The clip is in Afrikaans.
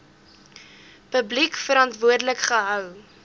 publiek verantwoordelik gehou